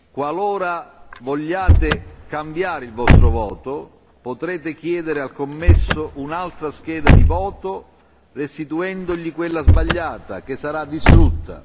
Qualora vogliate cambiare il vostro voto, potrete chiedere al commesso un'altra scheda di voto, restituendogli quella sbagliata, che sarà distrutta.